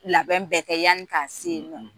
Labɛn bɛɛ kɛ yani ka sen i ma.